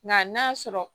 Nka n'a sɔrɔ